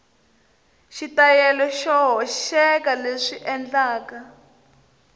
xitayili xo hoxeka leswi endlaka